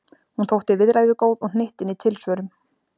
Hún þótti viðræðugóð og hnyttin í tilsvörum.